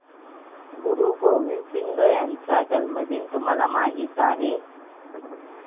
गुरु गोविंद सिंह यांचा जन्मदिन तुम्हाला माहित आहे